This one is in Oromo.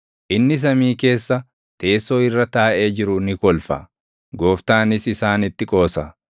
Inni samii keessa, teessoo irra taaʼee jiru ni kolfa; Gooftaanis isaanitti qoosa.